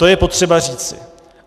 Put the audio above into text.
To je potřeba říci.